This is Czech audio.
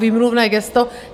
Výmluvné gesto.